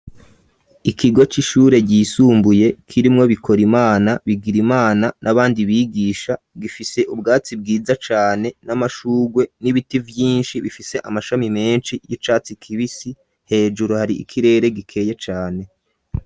Ikigo c'ishure ryisumbuye kirimwo Bikorimana, Bigirimana n'abandi bigisha gifise ubwatsi bwiza cane n'amashurwe n'ibiti vyishi bifise amashami meshi y'icatsi kibisi hejuru hari ikirere gikeye cane.